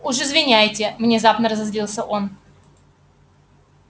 уж извиняйте внезапно разозлился он